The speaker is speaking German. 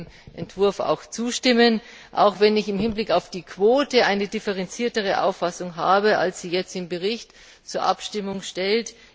Ich werde dem Entwurf zustimmen, auch wenn ich im Hinblick auf die Quote eine differenziertere Auffassung habe, als sie jetzt im Bericht zur Abstimmung steht.